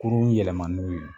Kurun yɛlɛma n'u ye